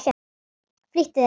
Flýttu þér.